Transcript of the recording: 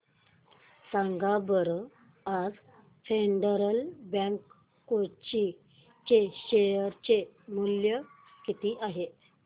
सांगा बरं आज फेडरल बँक कोची चे शेअर चे मूल्य किती आहे